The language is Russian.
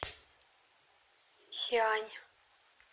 сиань